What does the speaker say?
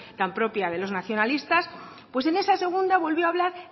tan propia de los nacionalistas pues en esa segunda volvió a hablar